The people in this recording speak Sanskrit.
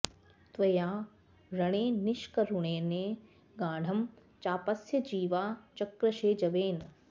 त्वया रणे निष्करुणेन गाढं चापस्य जीवा चकृषे जवेन